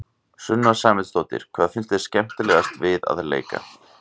Sunna Sæmundsdóttir: Hvað finnst þér skemmtilegast við að leika?